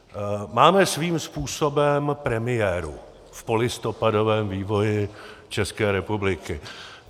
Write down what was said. Máme svým způsobem premiéru v polistopadovém vývoji České republiky.